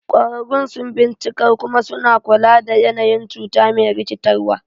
Ƙwararrun sun bincikar kuma suna kula da yanayin cuta me rikitarwa.